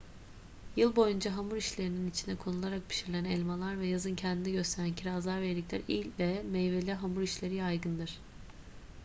yıl boyunca hamur işlerinin içine konularak pişirilen elmalar ve yazın kendini gösteren kirazlar ve erikler ile meyveli hamur işleri yaygındır